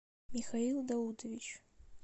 михаил даутович